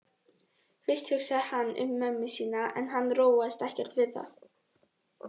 Fyrst hugsaði hann um mömmu sína en hann róaðist ekkert við það.